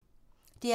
DR P2